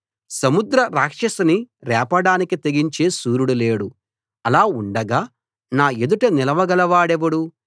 సముద్ర రాక్షసిని రేపడానికి తెగించే శూరుడు లేడు అలా ఉండగా నా ఎదుట నిలవగలవాడెవడు